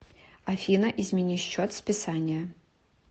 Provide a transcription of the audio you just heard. афина измени счет списания